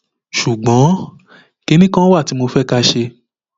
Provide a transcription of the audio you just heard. ṣùgbọn kinní kan wà tí mo fẹ ká ṣe